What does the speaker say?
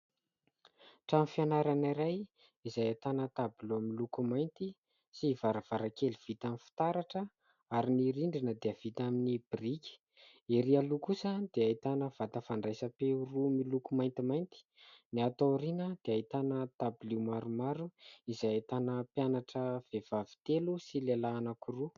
Trano fianarana iray izay ahitana tabilao miloko mainty sy varavarankely vita amin'ny fitaratra ary ny rindrina dia vita amin'ny biriky. Erỳ aloha kosa dia ahitana vata fandraisam-peo roa miloko maintimainty, ny ato ao aoriana dia ahitana dabilio maromaro izay ahitana mpianatra vehivavy telo sy lehilahy anankiroa.